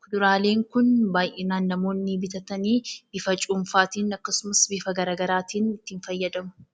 Muduraaleen kun namoonni baay'inaan bitanii bifa cuunfaatiin akkasumas bifa garaagaraatiin itti fayyadamu.